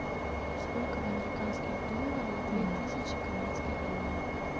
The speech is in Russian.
сколько в американских долларах две тысячи канадских долларов